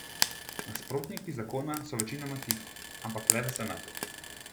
Nasprotniki zakona so večinoma tiho, ampak le v senatu.